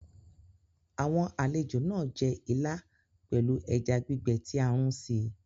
Àwọn àlejò náà jẹ ìlà pelu ẹja gbígbé tí a runsi